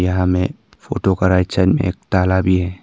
यहां में फोटो का राइट साइड में एक ताला भी है।